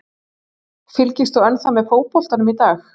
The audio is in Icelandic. Fylgist þú ennþá með fótboltanum í dag?